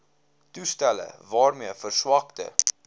toestelle waarmee verswakte